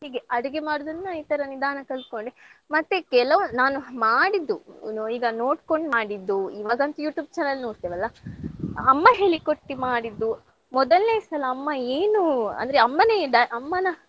ಹೀಗೆ ಅಡುಗೆ ಮಾಡುದನ್ನ ನಾನು ಈ ತರ ನಿಧಾನ ಕಲ್ತ್ಕೊಂಡೆ ಮತ್ತೆ ಕೆಲವು ನಾನು ಮಾಡಿದ್ದು ಏನೋ ಈಗ ನೋಡ್ಕೊಂಡ್ ಮಾಡಿದ್ದು ಇವಾಗಂತೂ YouTube ನೋಡ್ತೇವಲ್ಲ ಅಮ್ಮ ಹೇಳಿಕೊಟ್ಟಿ ಮಾಡಿದ್ದು ಮೊದಲ್ನೇ ಸಲ ಅಮ್ಮ ಏನು ಅಂದ್ರೆ ಅಮ್ಮನೇ ಡ~ ಅಮ್ಮನ